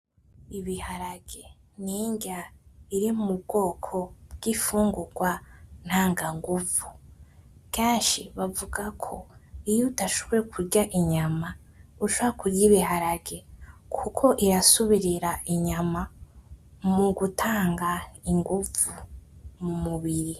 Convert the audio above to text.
Ibiharage ninrya biri nko mubwoko bw'imfungurwa ntanga ngumvu. Kenshi bavuga ko iyo udashoboye kurya inyama, ushobora kurya ibiharage kuko irasubirira inyama mugutanga ingumvu mumubiri.